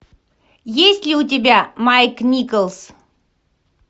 есть ли у тебя майк николс